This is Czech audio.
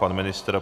Pan ministr?